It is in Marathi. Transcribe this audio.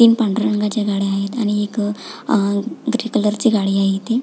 तीन पांढऱ्या रंगाच्या गाड्या आहेत आणि एक अह ग्रे कलरची गाडी आहे इथे --